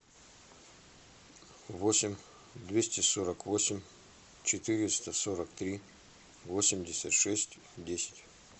восемь двести сорок восемь четыреста сорок три восемьдесят шесть десять